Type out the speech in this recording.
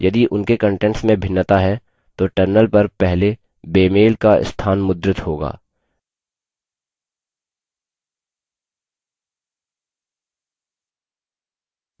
यदि उनके कंटेंट्स में भिन्नता है तो terminal पर पहले बेमेल का स्थान मुद्रित होगा